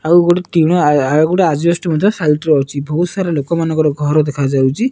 ଆଉ ଗୋଟେ ଟିଣ ଆଉ ଆଉ ଗୋଟେ ଆଜବେଷ୍ଟ ମଧ୍ଯ ସାଇଟ ରେ ଅଛି ବହୁତ ସାରା ଲୋକମାନକର ଘର ଦେଖା ଯାଉଚି ।